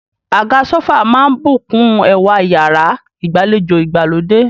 Àga sófà máà ń bùkún ẹwà iyàrá ìgbàlejò ìgbàlódé.